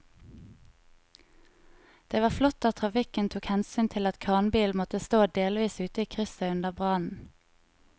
Det var flott at trafikken tok hensyn til at kranbilen måtte stå delvis ute i krysset under brannen.